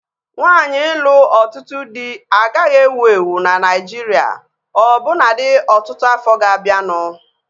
Nwaanyi ịlụ ọtụtụ dị agaghị ewu ewu na Naijiria ọbụnadi ọtụtụ afọ ga-abianu